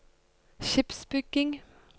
skipsbygging